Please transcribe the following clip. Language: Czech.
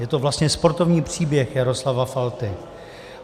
Je to vlastně sportovní příběh Jaroslava Falty.